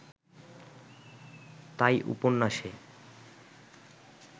তাই উপন্যাসে